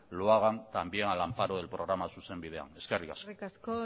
lo hagan también al amparo del programa zuzen bidean eskerrik asko eskerrik asko